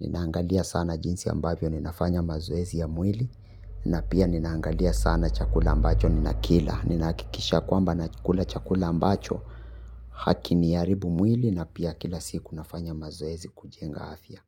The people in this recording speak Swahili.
Ninaangalia sana jinsi ambavyo ninafanya mazoezi ya mwili na pia ninaangalia sana chakula mbacho nina kila. Ninaakikisha kwamba nakula chakula mbacho haki ni haribu mwili na pia kila siku nafanya mazoezi kujenga afya.